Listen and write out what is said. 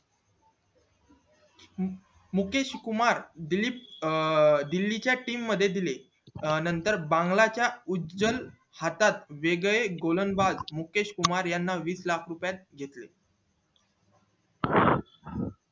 मुकेशे कुमार दिलीप दिल्ली च्या team मध्ये दिले नंतर बांगला च्या उजल हातात वेगळे गोलन्दाज मुकेश कुमार याना वीस लाख रुपयेत घेतले